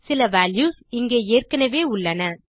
சில வால்யூஸ் இங்கே ஏற்கெனெவே உள்ளன